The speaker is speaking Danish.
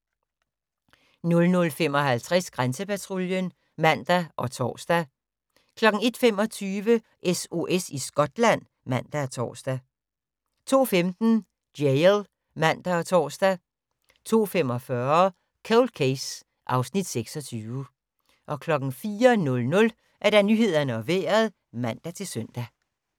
00:55: Grænsepatruljen (man og tor) 01:25: SOS i Skotland (man og tor) 02:15: Jail (man og tor) 02:45: Cold Case (Afs. 26) 04:00: Nyhederne og Vejret (man-søn)